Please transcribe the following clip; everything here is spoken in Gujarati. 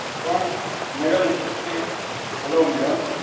પણ મેડમ, હું તમને, હલો madam,